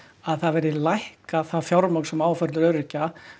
að það verði lækkað það fjármagn sem á að fara til öryrkja